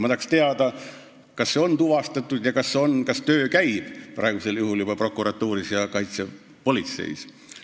Ma tahaks teada, kas see on tuvastatud ja kas töö juba käib praegusel juhul prokuratuuris ja kaitsepolitseis.